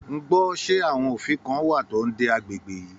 Ngbọ ṣe àwọn òfin kàn wá tó n dé agbègbè yìí?